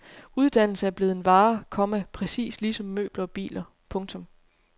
Uddannelse er blevet en vare, komma præcis ligesom møbler og biler. punktum